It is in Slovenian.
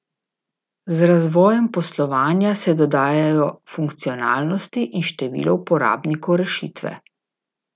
Z razvojem poslovanja se dodajajo funkcionalnosti in število uporabnikov rešitve.